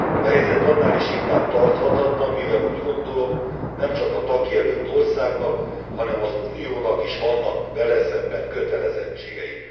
A helyzet annál is inkább tarthatatlan, mivel úgy gondolom nemcsak a tagjelölt országnak, hanem az Uniónak is vannak vele szemben kötelezettségei.